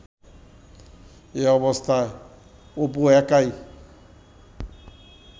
এ অবস্থায় অপু একাই